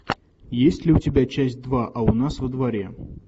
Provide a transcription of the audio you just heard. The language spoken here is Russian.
есть ли у тебя часть два а у нас во дворе